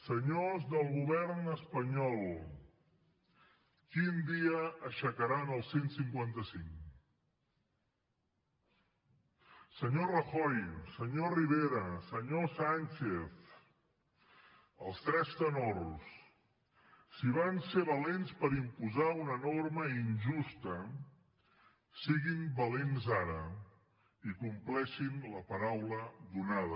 senyors del govern espanyol quin dia aixecaran el cent i cinquanta cinc senyor rajoy senyor rivera senyor sánchez els tres tenors si van ser valents per imposar una norma injusta siguin valents ara i compleixin la paraula donada